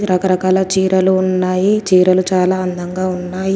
రకరకాల చీరలు ఉన్నాయి చీరలు చాలా అందంగా ఉన్నాయి.